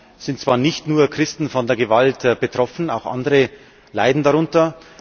Es sind zwar nicht nur Christen von der Gewalt betroffen, auch andere leiden darunter.